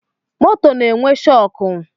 Moto na-enwe shọkụ